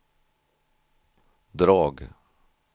drag